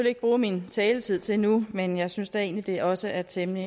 ikke bruge min taletid til nu men jeg synes da egentlig det også er temmelig